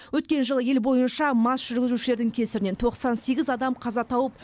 өткен жылы ел бойынша мас жүргізушілердің кесірінен тоқсан сегіз адам қаза тауып